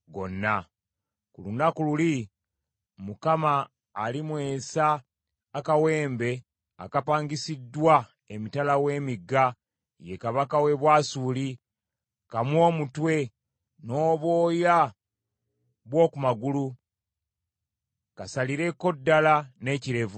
Ku lunaku luli Mukama alimwesa akawembe akapangisiddwa emitala w’emigga, ye kabaka w’e Bwasuli, kammwe omutwe, n’obwoya bw’oku magulu, kasalireko ddala n’ekirevu.